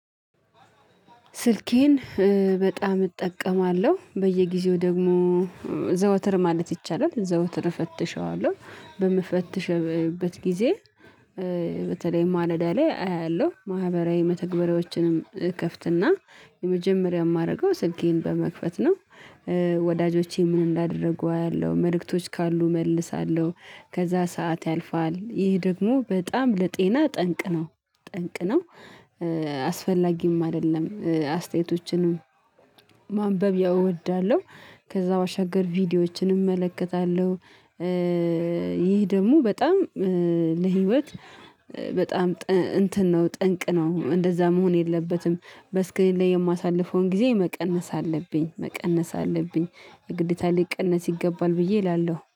ስልኬን በጣም እጠቀማለሁ በየጊዜው ደግሞ ዘወትር ማለት ይቻላል ዘወትር እፈትሸዋለሁ በምፈትሽበት ጊዜ በተለይ ማለዳ ላይ አያለሁ ማህበራዊ መተግበሪያዎችን እከፍትና የመጀመሪያ የማደርገው ስኬን በመክፈት ነው። ወዳጆቼ ምን እንዳደርጉ አያለሁ መልእክቶች ካሉ እመልሳለሁ ከዛ ሰዓት ያልፋል ይህ ደግሞ በጣም ለጤና ጠንቅ ነው ጠንቅ ነው። አስፈላጊም አይደለም አስተያየቶችንም ማንበብ ያው እወዳለሁ። ከዛ ባሻገር ቪዲዮዎችን እመለከታለሁ። ይህ ደግሞ በጣም ለህይወት በጣም እንትን ነው ጠንቅ ነው እንደዛ መሆን የለበትም። በስልኬ ላይ የማሳልፈውን ጊዜ መቀነስ አለብኝ መቀነስ አለብኝ ግዴታ ሊቀነስ ይገባል ብዬ እላለሁ